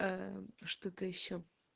что-то ещё